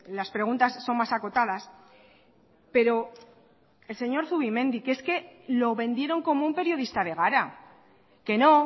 las preguntas son más acotadas pero el señor zubimendi que es que lo vendieron como un periodista de gara que no